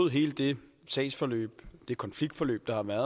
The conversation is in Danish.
hele det sagsforløb det konfliktforløb der har været